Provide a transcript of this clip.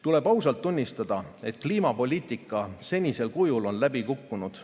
Tuleb ausalt tunnistada, et kliimapoliitika senisel kujul on läbi kukkunud.